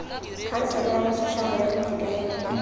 khansele ya bosetšhaba ya boitekanelo